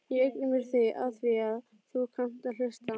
Ég eigna mér þig afþvíað þú kannt að hlusta.